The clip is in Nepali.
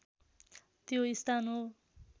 त्यो स्थान हो